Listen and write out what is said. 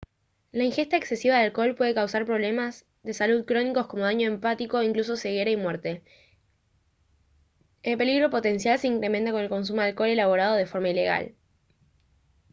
la ingesta excesiva de alcohol puede causar problemas de salud crónicos como daño hepático e incluso ceguera y muerte el peligro potencial se incrementa con el consumo de alcohol elaborado de forma ilegal